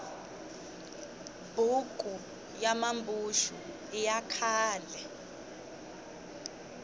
buku ya mambuxu i ya khale